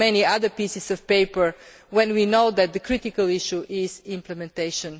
many other pieces of paper', when we know that the critical issue is implementation.